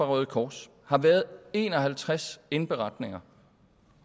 røde kors har været en og halvtreds indberetninger